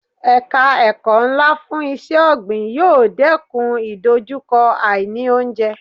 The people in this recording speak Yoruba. Ẹ̀ka ẹ̀kọ́ ńlá fún iṣẹ́ ọ̀gbìn yóò dẹ́kun ìdojúkọ àì ní oúnjẹ.